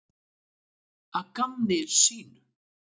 Að gamni sínu?